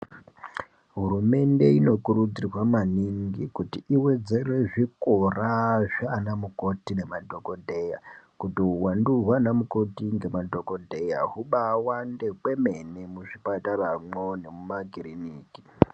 Hurumende inokurudzirwa maningi kuti iwedzere zvikora zvaanamukoti nemadhokodheya kuti uwandu hwaana mukoti ngemadhokodheya hubaawande kwemene muzvipataramwo nemumakiriniki.